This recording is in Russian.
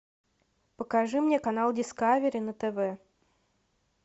покажи мне канал дискавери на тв